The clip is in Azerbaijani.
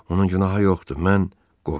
Onun günahı yoxdur, mən qorxdum.